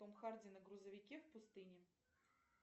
том харди на грузовике в пустыне